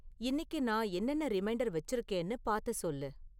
இன்னிக்கு நான் என்னென்ன ரிமைண்டர் வச்சிருக்கிறேன்னு பார்த்துச் சொல்லு